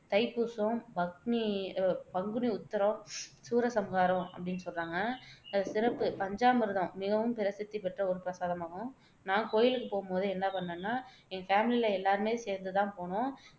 தைப்பூசம், பக்னி பங்குனி உத்திரம் சூரசம்ஹாரம் அப்படின்னு சொல்றாங்க சிறப்பு பஞ்சாமிர்தம் மிகவும் பிரசித்தி பெற்ற ஒரு பிரசாதமாகும் நான் கோயிலுக்கு போகும் போது என்ன பண்ணேன்னா என் ஃபேமிலில எல்லாருமே சேர்ந்து தான் போனோம்